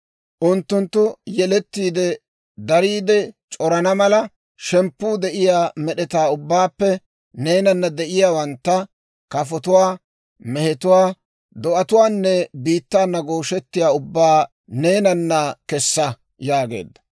Unttunttu yelettiide, dariide c'orana mala, shemppuu de'iyaa med'etaa ubbaappe neenana de'iyaawantta: kafotuwaa, mehetuwaa, do'atuwaanne biittaana gooshettiyaa ubbaa neenana kessa» yaageedda.